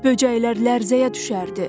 Böcəklər lərzəyə düşərdi.